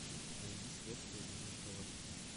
найди следствие ведут колобки